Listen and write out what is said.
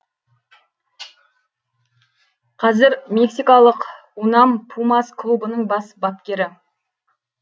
қазір мексикалық унам пумас клубының бас бапкері